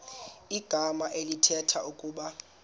igama elithetha ukuba